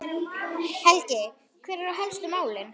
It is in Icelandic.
Helgi, hver eru helstu málin?